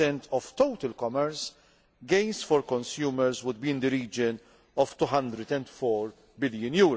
15 of total commerce, gains for consumers would be in the region of EUR 204 billion.